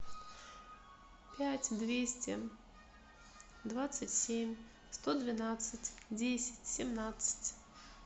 пять двести двадцать семь сто двенадцать десять семнадцать